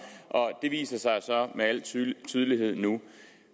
og det viser sig så med al tydelighed nu